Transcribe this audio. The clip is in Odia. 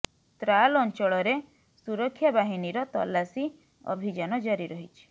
ତ୍ରାଲ ଅଞ୍ଚଳରେ ସୁରକ୍ଷା ବାହିନୀର ତଲାସୀ ଅଭିଯାନ ଜାରି ରହିଛି